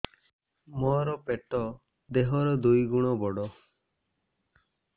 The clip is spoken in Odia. ମୋର ପେଟ ଦେହ ର ଦୁଇ ଗୁଣ ବଡ